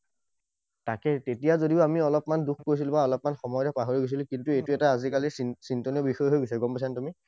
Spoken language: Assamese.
তাকেই, তেতিয়া যদিও আমি অলপমান দুখ কৰিছিলো। বা অলপমান সময়ৰ ভিতৰত পাহৰি গৈছিলো, কিন্তু এইটো এতিয়া আজিকালি চিন্তনীয় বিষয় হৈ গৈছে, গম পাইছা নে তুমি?